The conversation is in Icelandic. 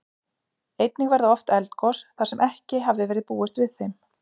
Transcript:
Einnig verða oft eldgos, þar sem ekki hafði verið búist við þeim.